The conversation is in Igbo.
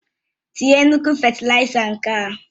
Tinye nnukwu fétilaiza nga ahụ!